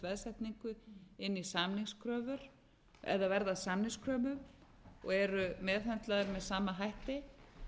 veðsetningu inn í samningskröfur eða verða samningskröfur og eru meðhöndlaðar með sama hætti